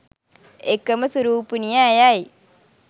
එකම සුරූපිනිය ඇයයි.